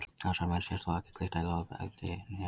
Á þessari mynd sést þó ekki glitta í loðfeldi né epli.